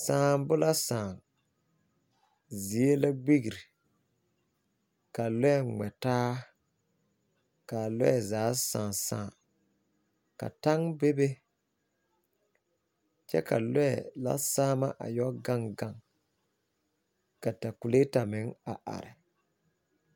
lɔe la gmɛ taa a saŋaa zaa kyɛ ka takuleeta kpoŋ a are. Taŋ meŋ are la a takuleeta puoreŋ